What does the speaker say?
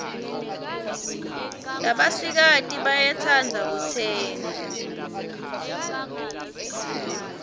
labasikati bayetsandza kutsenge